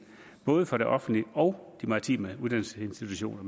både for det offentlige og de maritime uddannelsesinstitutioner